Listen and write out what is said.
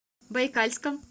байкальском